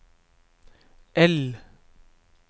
L